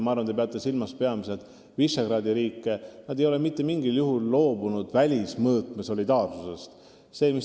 Ma arvan, te peate silmas peamiselt Visegrádi riike, kes ei ole mitte mingil juhul loobunud solidaarsusest välissuhtluses.